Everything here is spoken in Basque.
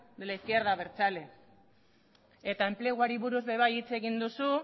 de la izquierda abertzale eta enpleguari buruz ere bai hitz egin duzu